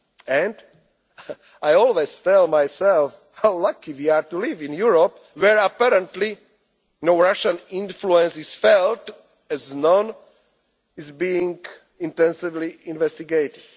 any action at all. And I always tell myself how lucky we are to live in Europe where, apparently, no Russian influence is felt, as none is being intensively